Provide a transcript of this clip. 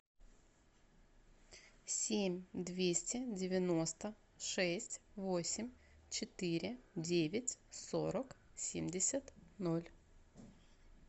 семь двести девяносто шесть восемь четыре девять сорок семьдесят ноль